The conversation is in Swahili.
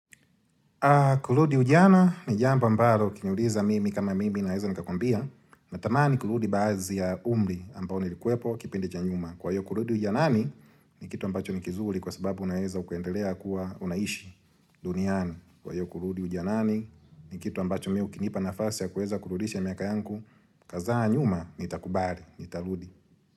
Kurudi ujana ni jambo ambalo ukiniuliza mimi kama mimi naeza nikakuambia natamani kurudi baazi ya umri ambao nilikuepo kipindi cha nyuma Kwa hiyo kurudi ujanani ni kitu ambacho nikizuri kwa sababu unaeza ukaendelea kuwa unaishi duniani Kwa hiyo kurudi ujanani ni kitu ambacho mi ukinipa nafasi ya kuweza kurudisha miaka yangu Kazaa nyuma nitakubali, nitarudi.